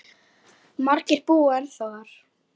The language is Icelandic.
Margir búa ennþá þar.